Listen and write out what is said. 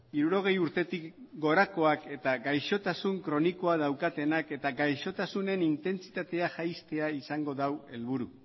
hirurogei urtetik gorakoak eta gaixotasun kronikoa daukatenak eta gaixotasunen intentsitatea jaistea izango du helburu